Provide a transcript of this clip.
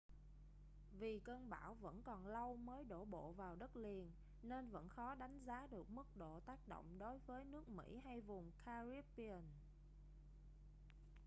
vì cơn bão vẫn còn lâu mới đổ bộ vào đất liền nên vẫn khó đánh giá được mức độ tác động đối với nước mỹ hay vùng caribbean